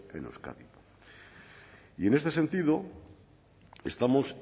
en euskadi y en este sentido estamos